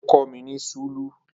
Ó kọ́ mi ní súlù